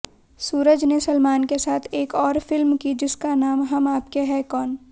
सूरज ने सलमान के साथ एक और फिल्म की जिसका नाम हम आपके हैं कौन